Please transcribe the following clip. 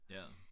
Ja